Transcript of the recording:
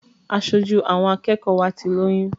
Aṣojú àwọn akẹ́kọ̀ọ́ wa ti lóyún.